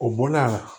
O bɔla a la